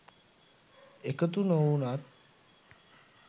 එකතු නොවුනොත්